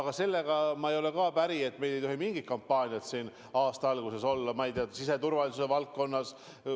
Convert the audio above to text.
Aga sellega ma ei ole päri, et meil ei tohi mingit kampaaniat aasta alguses olla näiteks siseturvalisuse valdkonnas.